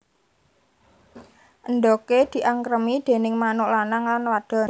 Endhoge diangkremi déning manuk lanang lan wadon